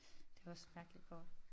Det var også et mærkeligt kort